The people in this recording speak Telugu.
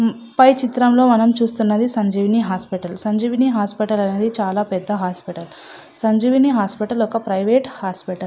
పై చిత్రం లో మనం చూస్తున్నది సంజీవిని హాస్పిటల్ అని రాసి ఉంది సంజీవిని హాస్పిటల్ అనేది ఒక పెద్ద హాస్పిటల్ హాస్పిటల్ అనేది ఒక ప్రైవేట్ హాస్పిటల్ .